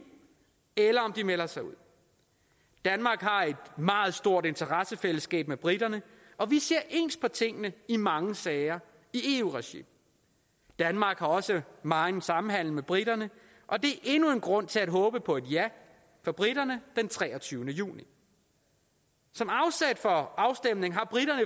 eller om de melder sig ud danmark har et meget stort interessefællesskab med briterne og vi ser ens på tingene i mange sager i eu regi danmark har også megen samhandel med briterne og det er endnu en grund til at håbe på et ja for briterne den treogtyvende juni som afsæt for afstemningen har briterne